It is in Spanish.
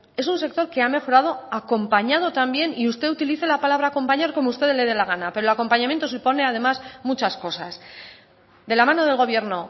es un sector que ha mejorado acompañado también y usted utilice la palabra acompañar como usted le dé la gana pero el acompañamiento supone además muchas cosas de la mano del gobierno